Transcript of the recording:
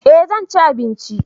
eh zanci abinci